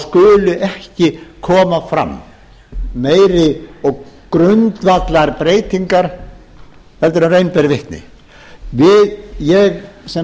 skuli ekki koma fram meiri og grundvallarbreytingar heldur en raun ber vitni ég sem